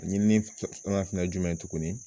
Ɲinini fana ye jumɛn ye tuguni